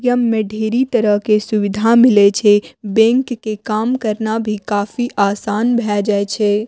यम में ढेरी तरह के सुविधा मिले छै बैंक के काम करना भी काफी आसान भाय जाय छै।